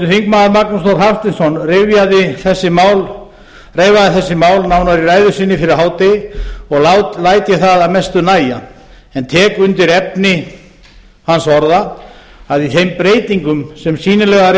svæðum veraldarinnar háttvirtir þingmenn magnús þór hafsteinsson reifaði þessi mál nánar í ræðu sinni fyrir hádegi og læt ég það að mestu nægja en tek undir efni hans orða að í þeim breytingum sem sýnilegar